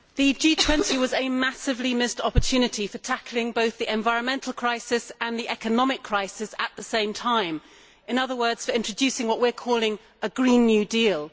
Mr President, the G20 was a massively missed opportunity for tackling both the environmental crisis and the economic crisis at the same time in other words for introducing what we are calling a Green New Deal'.